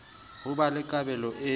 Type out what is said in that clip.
ho ba le kabelo e